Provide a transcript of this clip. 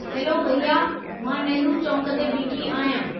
Hello भैया, मां नेहरु चौक ते बीठी आहियां।